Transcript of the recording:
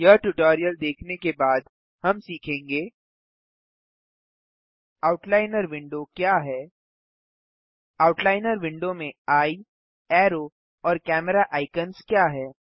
यह ट्यूटोरियल देखने के बाद हम सीखेंगे आउटलाइनर विंडो क्या है आउटलाइनर विंडो में एये अरो और कैमेरा आइकन्स क्या हैं